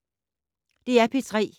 DR P3